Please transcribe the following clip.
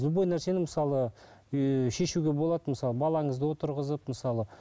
любой нәрсені мысалы ыыы шешуге болады мысалы балаңызды отырғызып мысалы